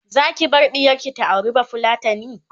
Zaki bar ɗiyarki ta auri bafulatani?